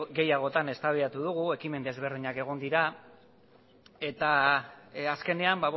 gehiagotan eztabaidatu dugu ekimen ezberdinak egon dira eta azkenean